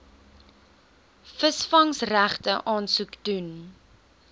visvangsregte aansoek doen